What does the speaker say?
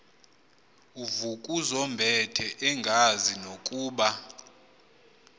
uvukuzumbethe engazi nokuba